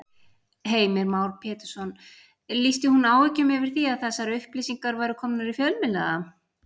Heimir Már Pétursson: Lýsti hún áhyggjum yfir því að þessar upplýsingar væru komnar í fjölmiðla?